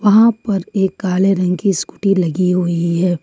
वहां पर एक काले रंग की स्कूटी लगी हुई है।